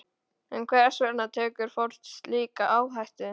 En hvers vegna tekur fólk slíka áhættu?